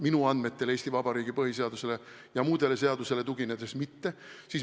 Minu andmetel Eesti Vabariigi põhiseaduse ja muude seaduste kohaselt mitte.